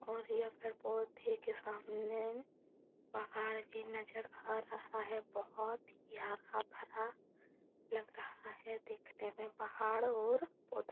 और यह पेड़ पौधे के सामने पहाड़ ही नजर आ रहा है। बहुत ही हरा भरा लग रहा है देखने में पहाड़ और पौधा।